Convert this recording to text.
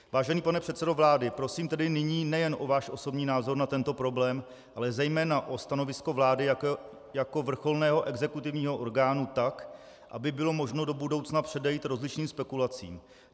Vážený pane předsedo vlády, prosím tedy nyní nejen o váš osobní názor na tento problém, ale zejména o stanovisko vlády jako vrcholného exekutivního orgánu, tak aby bylo možno do budoucna předejít rozličným spekulacím.